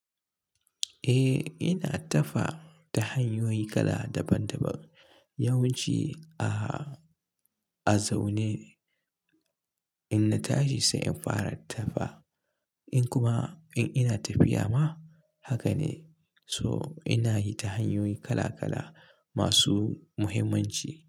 Eh, ina tafa ta hanyoyi kala daban daban. Yawan ci, a zaune in na tashi sai in fara tafa. In kuma in ina tafiya ma haka ne. So ina yi ta hanyoyi kala kala masu muhimmanci.